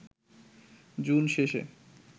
June শেষে